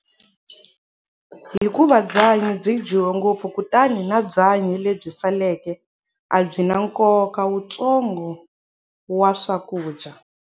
Hikuva byanyi byi dyiwe ngopfu kutani na byanyi lebyi saleke a byi na nkoka wutsongo wa swakudya.